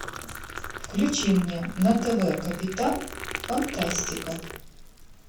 включи мне на тв капитан фантастика